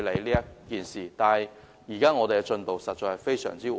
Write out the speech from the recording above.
不過，現時的進度實在非常緩慢。